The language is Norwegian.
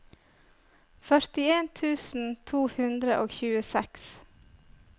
førtien tusen to hundre og tjueseks